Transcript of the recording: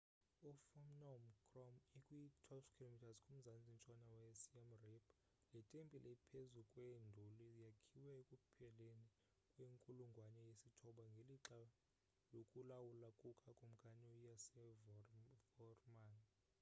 i-phnom krom ikwi-12 km kumzantsi-ntshona we siem reap le tempile ephezu kwenduli yakhiwa ekupheleni kwenkulungwane yesithoba ngelixa lokulawula kuka kumkani u-yasovarman